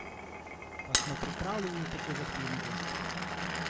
Pa smo pripravljeni na tako zahtevne goste?